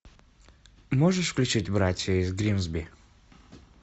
можешь включить братья из гримсби